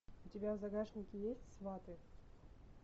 у тебя в загашнике есть сваты